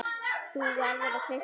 Þú verður að treysta mér